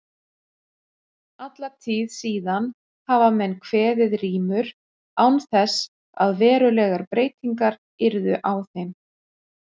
Alla tíð síðan hafa menn kveðið rímur án þess að verulegar breytingar yrðu á þeim.